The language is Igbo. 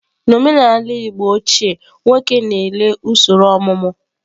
Na omenala igbo ochie nwoke na-ele usoro omumu.